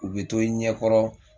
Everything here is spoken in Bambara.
U bɛ to i ɲɛ kɔrɔ